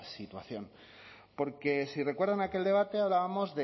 situación porque si recuerdan aquel debate hablábamos